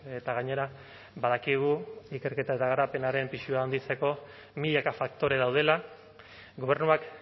eta gainera badakigu ikerketa eta garapenaren pisua handitzeko milaka faktore daudela gobernuak